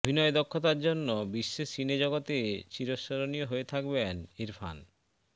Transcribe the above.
অভিনয় দক্ষতার জন্য বিশ্ব সিনে জগতে চিরস্মরণীয় হয়ে থাকবেন ইরফান